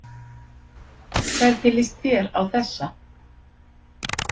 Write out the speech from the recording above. Hvernig líst þér á þessa?